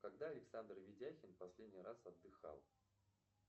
когда александр ведяхин последний раз отдыхал